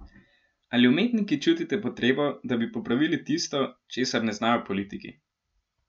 Ali umetniki čutite potrebo, da bi popravili tisto, česar ne znajo politiki?